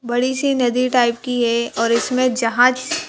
बड़ी सी नदी टाइप की है और इसमें जहाँ--